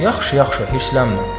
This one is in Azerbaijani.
Yaxşı, yaxşı, hirslənmə.